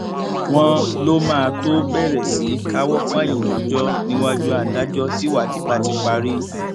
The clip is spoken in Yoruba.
wọn lọ máa tóó bẹrẹ sí í káwọ pọnyìn rojọ níwájú adájọ tíwádìí bá ti parí